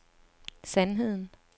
sandheden